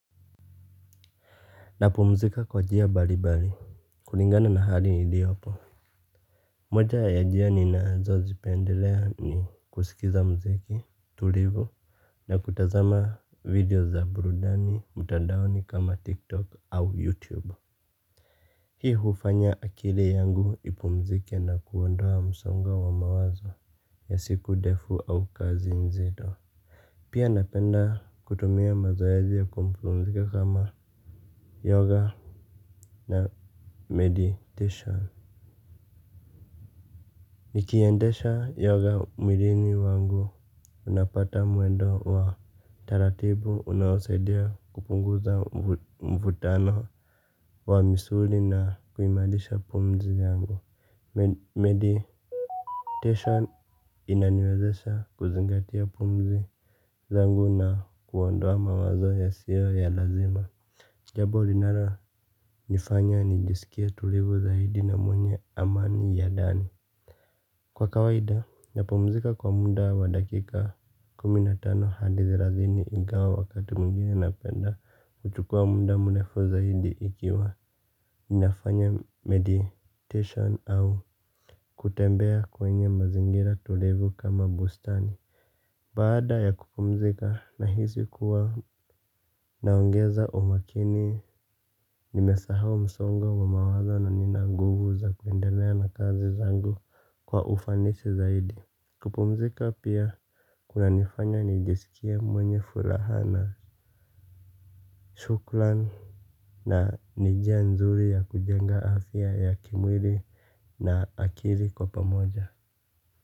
Napumzika kwa njia mbalimbali. Kulingana na hali niliyopo moja ya njia ninazozipendelea ni kusikiza muziki tulivu na kutazama video za burudani mtandaoni kama tiktok au youtube hii hufanya akili yangu ipumzike na kuondoa msongo wa mawazo ya siku ndefu au kazi nzito. Pia napenda kutumia mazoezi ya kupumzika kama yoga. Na meditation nikiendesha yoga mwilini wangu unapata mwendo wa taratibu unaosaidia kupunguza mvutano wa misuli na kuimarisha pumzi yangu Meditation inaniwezesha kuzingatia pumzi zangu na kuondoa mawazo yasiyo ya lazima jambo linalonifanya nijisikie tulivu zaidi na mwenye amani ya ndani. Kwa kawaida napumzika kwa muda wa dakika kumi na tano hadi thelathini ingawa wakati mwingine napenda kuchukua muda mrefu zaidi ikiwa ninafanya meditation au kutembea kwenye mazingira tulivu kama bustani. Baada ya kupumzika nahisi kuwa naongeza umakini nimesahau msongo wa mawazo na nina nguvu za kuendelea na kazi zangu kwa ufanisi zaidi kupumzika pia kunanifanya nijisikie mwenye furaha na shukrani. Na ni njia nzuri ya kujenga afya ya kimwili na akili kwa pamoja.